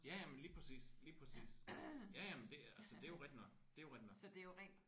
Ja ja jamen lige præcis lige præcis. Ja ja men det altså det er jo rigtigt nok